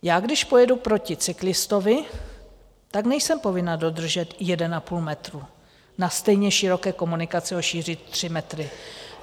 Já když pojedu proti cyklistovi, nejsem povinna dodržet 1,5 metru na stejně široké komunikaci o šíři 3 metry.